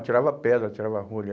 Atirava pedra, atirava rolha.